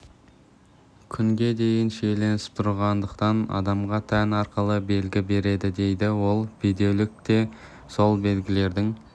күнге дейін шиеленісіп тұрғандықтан адамға тән арқылы белгі береді дейді ол бедеулік те сол белгілердің